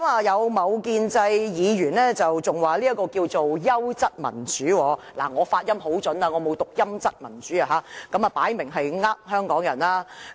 有某建制議員更表示這樣是優質民主，我的發音很標準，我沒有讀成"陰質民主"，這明顯是欺騙香港人。